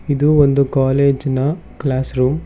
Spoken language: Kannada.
ಇದು ಒಂದು ಕಾಲೇಜಿ ನ ಕ್ಲಾಸ್ ರೂಮ್ .